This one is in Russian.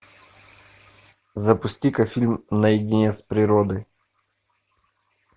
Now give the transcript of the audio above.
запусти ка фильм наедине с природой